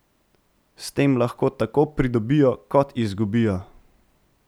S tem lahko tako pridobijo kot izgubijo.